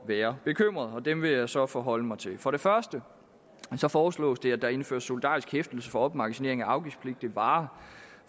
være bekymret og dem vil jeg så forholde mig til for det første foreslås det at der indføres solidarisk hæftelse for opmagasinering af afgiftspligtige varer